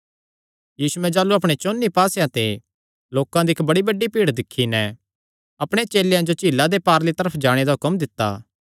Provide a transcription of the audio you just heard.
यीशुयैं जाह़लू अपणे चौंन्नी पास्सेयां ते लोकां दी इक्क बड़ी बड्डी भीड़ दिक्खी नैं अपणे चेलेयां जो झीला दे पारली तरफ जाणे दा हुक्म दित्ता